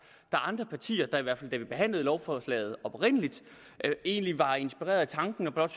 er andre partier der i hvert fald da vi behandlede lovforslaget oprindeligt egentlig var inspirerede af tanken og blot